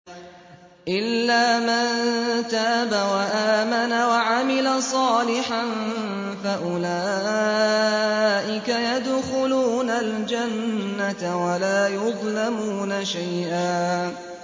إِلَّا مَن تَابَ وَآمَنَ وَعَمِلَ صَالِحًا فَأُولَٰئِكَ يَدْخُلُونَ الْجَنَّةَ وَلَا يُظْلَمُونَ شَيْئًا